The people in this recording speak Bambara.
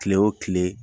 Kile o kile